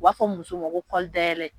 U b'a fɔ muso ma kɔli dayɛlɛ